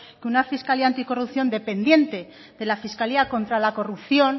que una fiscalía anticorrupción dependiente de la fiscalía contra la corrupción